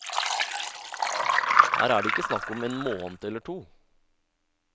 Her er det ikke snakk om en måned eller to.